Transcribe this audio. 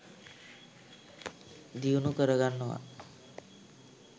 දියුණු කරගන්නවා.